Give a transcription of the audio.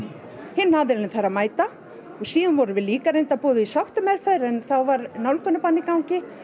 hinn aðilinn þarf að mæta og síðan vorum við líka reyndar boðuð í sáttameðferð en þá var nálgunarbann í gangi